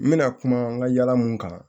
N bɛna kuma n ka yala mun kan